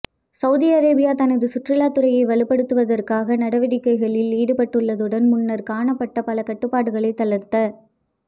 Saudi Arabia தனது சுற்றுலாத்துறையை வலுப்படுத்துவதற்கான நடவடிக்கைகளில் ஈடுபட்டுள்ளதுடன் முன்னர் காணப்பட்ட பல கட்டுப்பாடுகளை தளர்த்த